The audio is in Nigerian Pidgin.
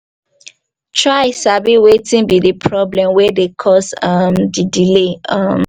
try sabi wetin be di problem wey dey cause um di delay um